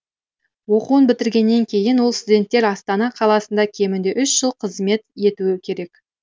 оқуын бітіргеннен кейін ол студенттер астана қаласында кемінде үш жыл қызмет етуі керек